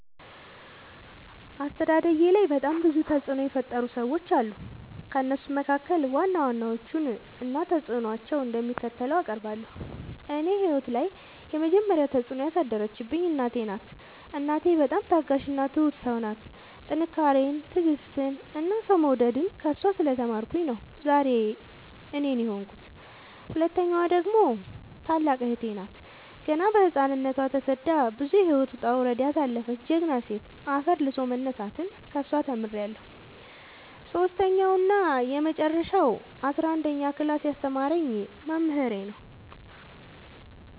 አስተዳደጌላይ በጣም ብዙ ተፅዕኖ የፈጠሩ ሰዎች አሉ። ከእነሱም መካከል ዋና ዋናዎቹን እና ተፅዕኖቸው እንደሚከተለው አቀርባለሁ። እኔ ህይወት ላይ የመጀመሪ ተፅዕኖ ያሳደረችብኝ እናቴ ናት። እናቴ በጣም ታጋሽ እና ትሁት ሰው ናት ጥንካሬን ትዕግስትን እና ሰው መውደድን ከእሷ ስለ ተማርኩኝ ነው ዛሬ እኔን የሆንኩት። ሁለተኛዋ ደግሞ ታላቅ እህቴ ናት ገና በህፃንነቶ ተሰዳ ብዙ የህይወት ወጣውረድ ያሳለፈች ጀግና ሴት አፈር ልሶ መነሳትን ከሷ ተምሬለሁ። ሰሶስተኛው እና የመጀረሻው አስረአንደኛ ክላስ ያስተማረኝ መምህሬ ነው።